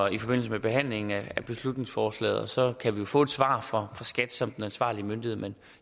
i forbindelse med behandlingen af beslutningsforslaget så kan vi få et svar fra skat som den ansvarlige myndighed men